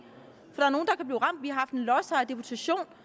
lodsejerdeputation